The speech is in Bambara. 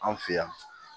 An fɛ yan